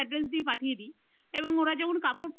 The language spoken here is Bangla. ওদের address দিয়ে পাঠিয়ে দি। এবং ওরা যেমন কাপড় পেয়ে যায়।